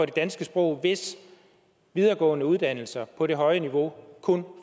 det danske sprog hvis videregående uddannelser på det høje niveau kun